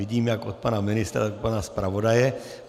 Vidím jak od pana ministra, tak pana zpravodaje.